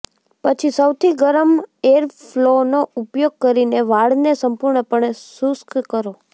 પછી સૌથી ગરમ એરફ્લોનો ઉપયોગ કરીને વાળને સંપૂર્ણપણે શુષ્ક કરો